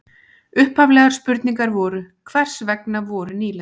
Upphaflegar spurningar voru: Hvers vegna voru nýlendur?